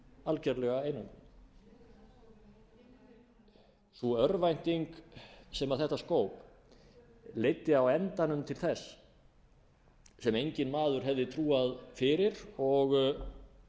algerlega einangruð sú örvænting sem þetta skóp leiddi á endanum til þess sem enginn maður hefði trúað fyrir og